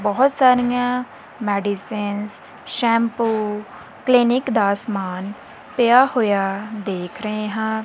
ਬਹੁਤ ਸਾਰੀਆਂ medicines shampoo clinic ਦਾ ਸਮਾਨ ਪਿਆ ਹੋਇਆ ਦੇਖ ਰਹੇ ਹਾਂ।